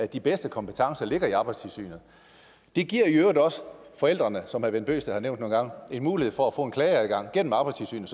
de bedste kompetencer i arbejdstilsynet det giver i øvrigt også forældrene som herre bent bøgsted har nævnt nogle gange en mulighed for at få klageadgang gennem arbejdstilsynet